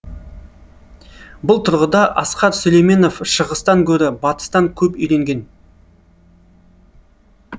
бұл тұрғыда асқар сүлейменов шығыстан гөрі батыстан көп үйренген